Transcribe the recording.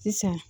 Sisan